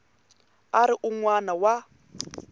a ri un wana wa